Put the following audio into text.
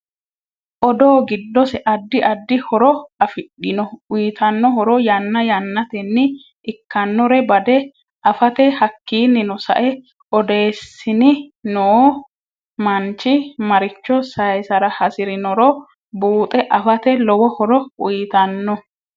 Odoo giddose addi addi horo afidhinno uyiitanno horo yanna yaanateni ikanore bade afate hakiinino sae odeesnni noo manichi maricho sayiisara hasirinnoro buuxe afate lowo horo uyiitanno